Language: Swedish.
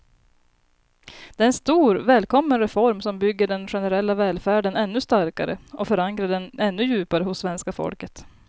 Det är en stor, välkommen reform som bygger den generella välfärden ännu starkare och förankrar den ännu djupare hos svenska folket.